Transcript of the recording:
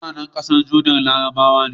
MutAnan ƙasar Jordan larabawa ne